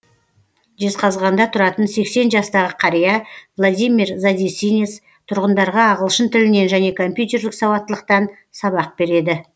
жезқазғанда тұратын сексен жастағы қария владимир задесинец тұрғындарға ағылшын тілінен және компьютерлік сауаттылықтан сабақ береді